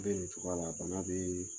bɛ nin cogoya la bana bɛ